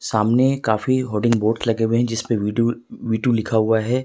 सामने काफी hoarding board लगे हुए है जिसपे वी टू वी टू लिखा हुआ है।